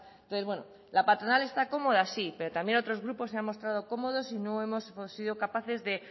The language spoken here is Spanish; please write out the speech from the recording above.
entonces bueno la patronal está cómoda sí pero también otros grupos se han mostrado cómodos y no hemos sido capaces de